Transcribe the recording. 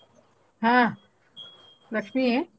ಹಾ ಲಕ್ಷ್ಮೀ.